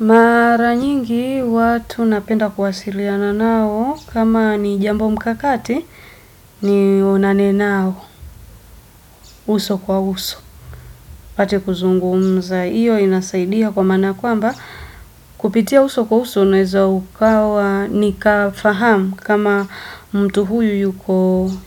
Mara nyingi watu napenda kuwasiliana nao kama ni jambo mkakati ni onane nao. Uso kwa uso. Pate kuzungumza iyo inasaidia kwa maana kwamba kupitia uso kwa uso unaweza ukawa nika fahamu kama mtu huyu